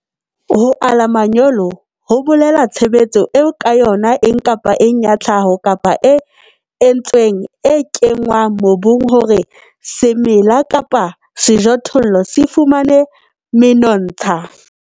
Ho ala manyolo ho bolela tshebetso eo ka yona eng kapa eng ya tlhaho kapa e entsweng e kenngwang mobung hore semela kapa sejothollo se fumane menontsha.